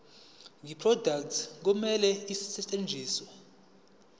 yeproduct kumele isetshenziswe